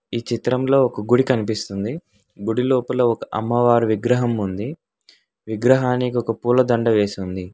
ఈ చిత్రంలో ఒక గుడి కనిపిస్తుంది గుడి లోపల ఒక అమ్మవారు విగ్రహం ఉంది విగ్రహానికి ఒక పూలదండ వేసుంది.